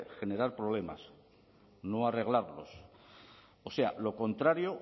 generar problemas no arreglarlos o sea lo contrario